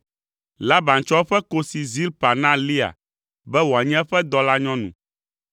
Laban tsɔ eƒe kosi Zilpa na Lea be wòanye eƒe dɔlanyɔnu.